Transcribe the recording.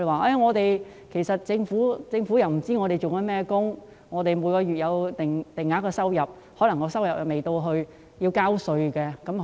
他們表示，政府不知道他們從事甚麼工作，雖然每月有定額收入，但卻未達至要繳稅的水平。